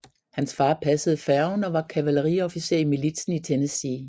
Hans far passede færgen og var kavaleriofficer i militsen i Tennessee